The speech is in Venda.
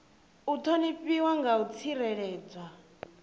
u ṱhonifhiwa na u tsireledzwa